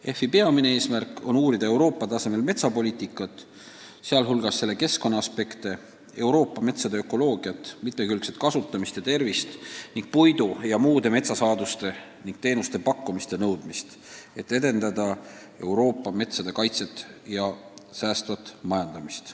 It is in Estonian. EFI peamine eesmärk on uurida Euroopa tasemel metsapoliitikat, sh selle keskkonnaaspekte, Euroopa metsade ökoloogiat, mitmekülgset kasutamist ja tervist ning puidu ja muude metsasaaduste ning teenuste pakkumist ja nõudmist, et edendada Euroopa metsade kaitset ja säästvat majandamist.